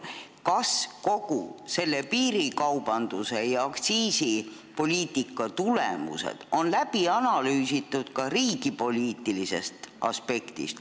Kas kogu piirikaubanduse ja aktsiisipoliitika tulemused on läbi analüüsitud ka riigipoliitilisest aspektist?